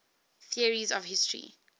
theories of history